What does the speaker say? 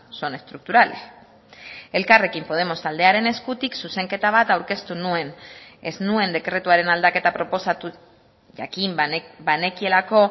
son estructurales elkarrekin podemos taldearen eskutik zuzenketa bat aurkeztu nuen ez nuen dekretuaren aldaketa proposatu jakin banekielako